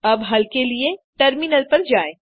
अब हल के लिए टर्मिनल पर जाएँ